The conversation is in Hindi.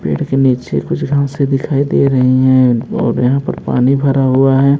पैर के नीचे कुछ घासे दिखाई दे रही हैं और यहां पर पानी भरा हुआ है।